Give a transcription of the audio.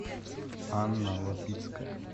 анна лапицкая